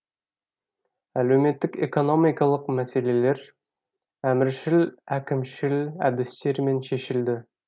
әлеуметтік экономикалық мәселелер әміршіл әкімшіл әдістермен шешілді